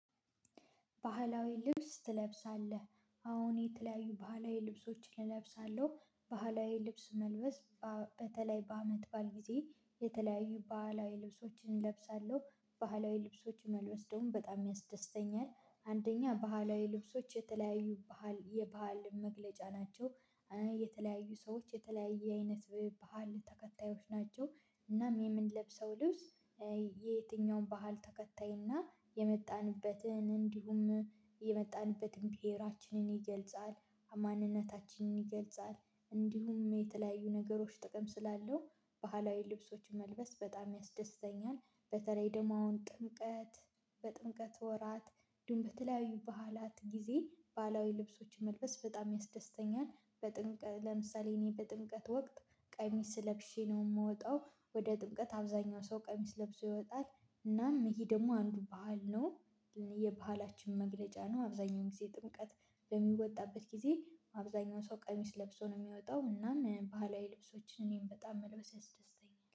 ባህላዊ ልብስ ትለብሳለህ? አወ የተለያዩ ባህላዊ ልብሶችን እለብሳለሁ ባህላዊ ልብስ መልበስ በተለይ በአመት በዓል ጊዜ የተለያዩ ባህላዊ ልብሶችን እለብሳለሁ ባህላዊ ልብሶች መልበስ ደግሞ በጣም ያስደስተኛል አንደኛ ባህላዊ ልብሶች የተለያዩ ባህል የባህል መገለጫ ናቸው የተለያዩ ሰዎች የተለያየ አይነት ባህል ተከታዮች ናቸው እናም የምንለብሰው ልብስ የየትኛውም ባህል ተከታይና የመጣንበትን እንዲሁም የመጣንበትን ብሄራችንን ይገልጻል ማንነታችንን ይገልጻል እንዲሁም የተለያዩ ነገሮች ጥቅም ስላለው ባህላዊ ልብሶችን መልበስ በጣም ያስደስተኛል በተለይ ደግሞ አሁን ጥምቀት በጥምቀት ወራት እንዲሁም በተለያዩ በዓላት ጊዜ ባህላዊ ልብሶችን መልበስ በጣም ያስደስተኛል ለምሳሌ እኔ በጥምቀት ወቅት ቀሚስ ለብሼ ነው የምወጣው ወደ ጥምቀት አብዛኛው ሰው ቀሚስ ለብሶ ይወጣል እናም ይሄ ደግሞ አንዱ ባህል ነው የባህላችን መገለጫ ነው አብዛኛውን ጊዜ ጥምቀት በሚወጣበት ጊዜ አብዛኛውን ሰው ቀሚስ ለብሶ ነው የሚያወጣው እናም ባህላዊ ልብሶችን እኔም በጣም መልበስ ያስደስተኛል